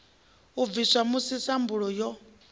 i bviswa musi sambulu yo